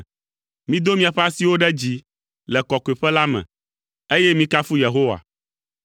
Mido miaƒe asiwo ɖe dzi le kɔkɔeƒe la me, eye mikafu Yehowa.